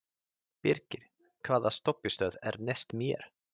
Birkir, hvaða stoppistöð er næst mér?